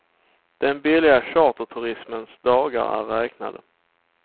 Den billiga charterturismens dagar är räknade.